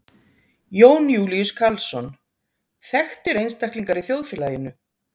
Jón Júlíus Karlsson: Þekktir einstaklingar í þjóðfélaginu?